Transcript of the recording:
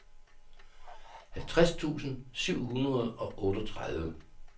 halvtreds tusind syv hundrede og otteogtredive